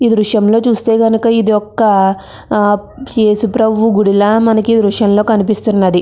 ఈ దృశ్యం లో చూస్తే కనుక ఇది ఒక్క ఆ యేసు ప్రభువు గుడి లా మనకి ఈ దృశ్యం లో కనిపిస్తూఉన్నది.